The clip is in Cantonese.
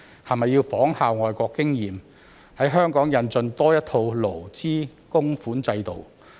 是否要仿效外國的經驗，在香港引進多一套勞資供款制度？